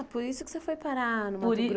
Ah, por isso que você foi parar no Mato